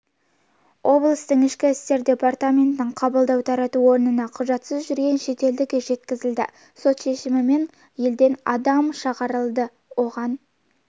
облыстық ішкі істер департаментінің қабылдау-тарату орнына құжатсыз жүрген шетелдік жеткізілді сот шешімімен адам елден шығарылды оған